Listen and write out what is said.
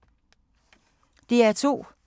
DR2